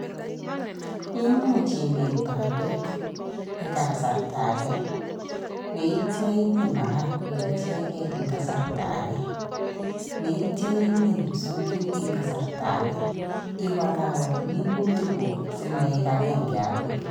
Imuch imin bandek eng kasarta age, yeitya imin marakwek ichegen eng kasarta age, yeitwa imin kipsiongik eng kasarta age. Iwalawal minutikguk simaik agenge agoi.